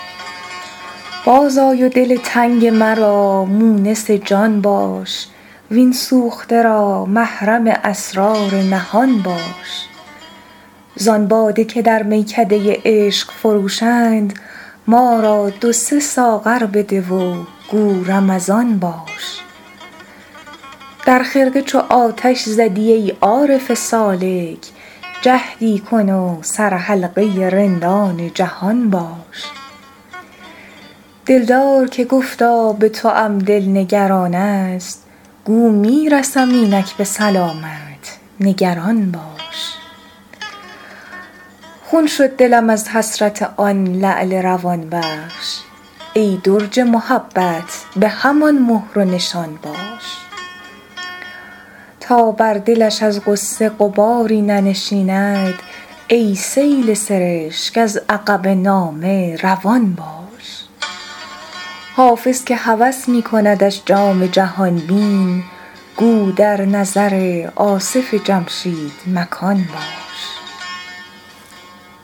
باز آی و دل تنگ مرا مونس جان باش وین سوخته را محرم اسرار نهان باش زان باده که در میکده عشق فروشند ما را دو سه ساغر بده و گو رمضان باش در خرقه چو آتش زدی ای عارف سالک جهدی کن و سرحلقه رندان جهان باش دلدار که گفتا به توام دل نگران است گو می رسم اینک به سلامت نگران باش خون شد دلم از حسرت آن لعل روان بخش ای درج محبت به همان مهر و نشان باش تا بر دلش از غصه غباری ننشیند ای سیل سرشک از عقب نامه روان باش حافظ که هوس می کندش جام جهان بین گو در نظر آصف جمشید مکان باش